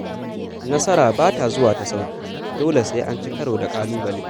Nasara ba ta zuwa ta sauƙi dole sai an ci karo da ƙalubale.